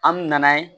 An mi na ye